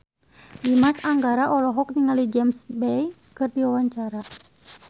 Dimas Anggara olohok ningali James Bay keur diwawancara